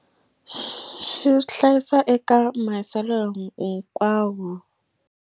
Swi hlayisiwa eka mahiselo hinkwawo.